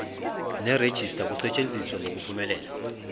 nerejista kusetshenziswe ngokuphumelela